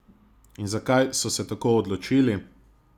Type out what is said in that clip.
In zakaj so se tako odločili?